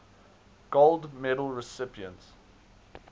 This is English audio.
gold medal recipients